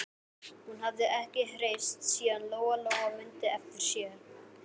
Hún hafði ekki hreyfst síðan Lóa-Lóa mundi eftir sér.